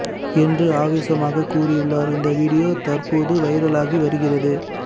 என்று ஆவேசமாக கூறியுள்ளார் இந்த வீடியோ தற்போது வைரல் ஆகி வருகிறது